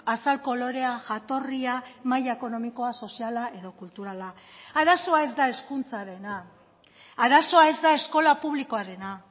azal kolorea jatorria maila ekonomikoa soziala edo kulturala arazoa ez da hezkuntzarena arazoa ez da eskola publikoarena